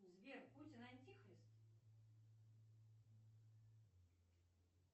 сбер путин антихрист